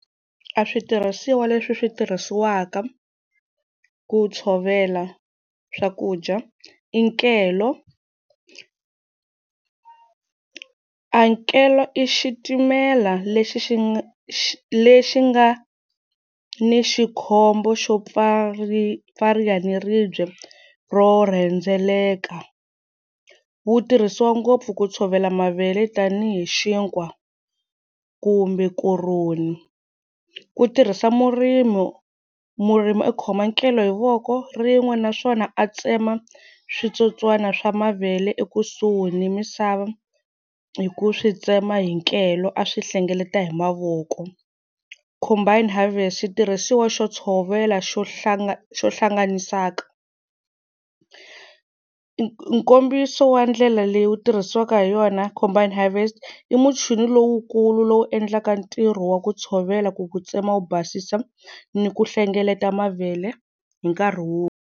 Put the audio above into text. A switirhisiwa leswi swi tirhisiwaka ku tshovela swakudya i nkelo, a nkelo i xitimela lexi xi nga lexi nga ni xikhombo xo pfariwa naribye ro rhendzeleka wu tirhisiwa ngopfu ku tshovela mavele tanihi xinkwa kumbe koroni ku tirhisa murimi murimi u khoma nkelo hi voko rin'we naswona a tsema switsotswana swa mavele ekusuhi ni misava hi ku swi tsema hi nkelo a swi hlengeleta hi mavoko combine harvest xitirhisiwa xo tshovela xo xo hlanganisaka nkombiso wa ndlela leyi wu tirhisiwaka hi yona combine harvest i muchini lowukulu lowu endlaka ntirho wa ku tshovela ku ku tsema wu basisa ni ku hlengeleta mavele hi nkarhi wun'we.